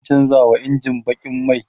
zan chanza wa injin bakin mai